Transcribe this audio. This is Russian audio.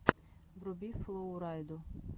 вруби флоу райду